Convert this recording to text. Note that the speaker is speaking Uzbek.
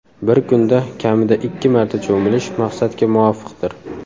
Bir kunda kamida ikki marta cho‘milish maqsadga muvofiqdir.